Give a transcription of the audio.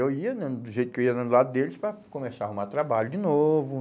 Eu ia né do jeito que eu ia do lado deles para começar a arrumar trabalho de novo.